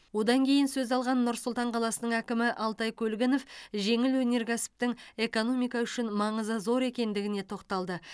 одан кейін сөз алған нұр сұлтан қаласының әкімі алтай көлгінов жеңіл өнеркәсіптің экономика үшін маңызы зор екендігіне тоқталды